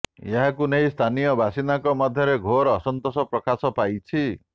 ଏହାକୁ ନେଇ ସ୍ଥାନୀୟ ବାସିନ୍ଦାଙ୍କ ମଧ୍ୟରେ ଘୋର ଅସନ୍ତୋଷ ପ୍ରକାଶ ପାଇଛି